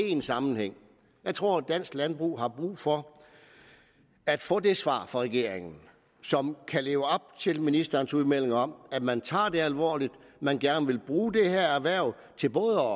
i en sammenhæng jeg tror at dansk landbrug har brug for at få det svar fra regeringen som kan leve op til ministerens udmelding om at man tager det alvorligt at man gerne vil bruge det her erhverv til både